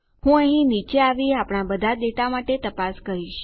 હું અહીં નીચે આવી આપણા બધા ડેટા માટે તપાસ કરીશ